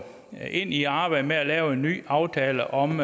ind i arbejdet med at lave en ny aftale om